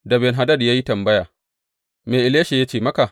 Da Ben Hadad ya yi tambaya, Me Elisha ya ce maka?